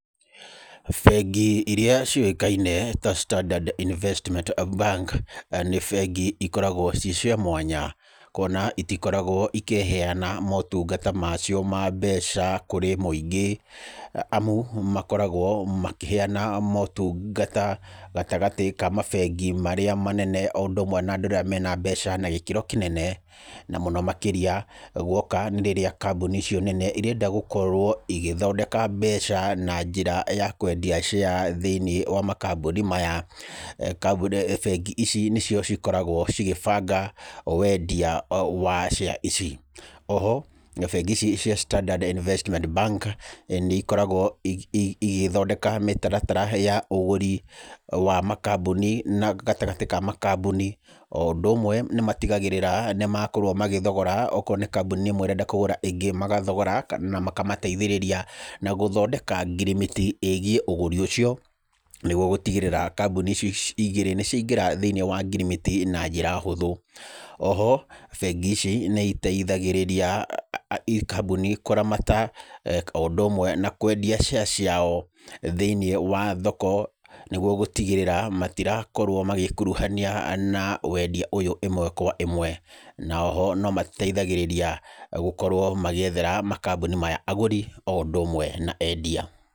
Bengi iria ciũĩkaine ta Standard Investment Bank nĩ bengi ikoragwo irĩ cia mwanya kuona itikoragwo ikĩheyana motungata macio ma mbeca kũrĩ mũingĩ. Amu makoragwo makĩheyana motungata gatagatĩ ka mabengi marĩa manene o ũndũ ũmwe na andũ arĩa marĩ na mbeca na gĩkĩro kĩnene. Na mũno makĩria guoka nĩ rĩrĩa kambuni icio nene irenda gũkorwo igĩthondeka mbeca na njĩra ya kwendia share thĩiniĩ wa makambuni maya. Bengi ici nĩcio ikoragwo igĩbanga wendia wa share ici. O ho bengi ici cia Standard Investment Bank nĩikoragwo igĩthondeka mĩtaratara ya ũgũri wa makambuni gatagatĩ-inĩ wa makambuni, o ũndũ ũmwe magĩtigĩrĩra nĩmakorwo mathogora akorwo nĩ kambuni ĩmwe ĩrenda kũgũra ĩngĩ, magathogora na kũmateithĩrĩria gũthondeka ngirimiti ĩgiĩ ũgũri ũcio, nĩguo gũtigĩrĩra kambuni icio igĩrĩ nĩciaingĩra thĩiniĩ wa ngirimiti na njĩra hũthũ. O ho bengi ici nĩiteigagĩrĩra kambuni kũramata o ũndũ ũmwe na kwendia share ciao thĩiniĩ wa thoko, nĩguo gũtigĩrĩra matirakorwo magĩkuruhania na wendia ũyũ ĩmwe kwa ĩmwe. Na o ho nĩmateithagĩrĩria gũkorwo magĩethera makambuni maya agũri o ũndũ ũmwe na endia.